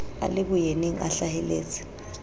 a le boyeneng a hlaheletse